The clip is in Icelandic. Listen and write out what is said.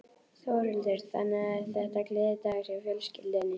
Þórhildur: Þannig að þetta er gleðidagur hjá fjölskyldunni?